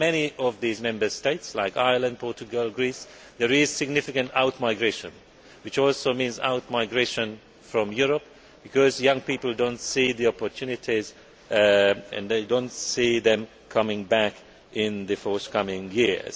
For many of these Member States, like Ireland, Portugal and Greece, there is significant out migration, which also means out migration from Europe, because young people do not see the opportunities and they do not see them returning in the coming